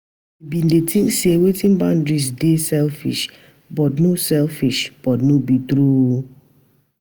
We bin dey tink sey setting boundaries dey selfish, but no selfish, but no be true o.